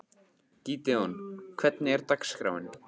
Gídeon, hvernig er dagskráin?